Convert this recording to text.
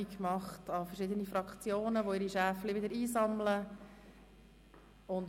Er hat den verschiedenen Fraktionen eine entsprechende Meldung zukommen lassen.